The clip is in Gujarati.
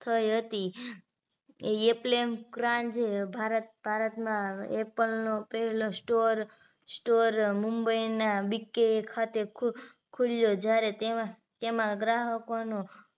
થઈ હતી યે પ્રેમ ક્રાંજ ભારતમાં apple નો પહેલો store store મુંબઈના BK ખાતે ખુલ્યો જ્યારે તેમાં તેમાં ગ્રાહકોનું